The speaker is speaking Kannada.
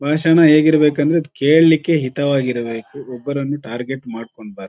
ಭಾಷಣ ಹೇಗಿರಬೇಕು ಅಂದ್ರೆ ಕೇಳಲಿಕ್ಕೆ ಹಿತವಾಗಿ ಇರ್ಬೇಕು ಒಬ್ಬರನ್ನು ಟಾರ್ಗೆಟ್ ಮಾಡ್ಕೊಂಡು ಬಾರ್ದು.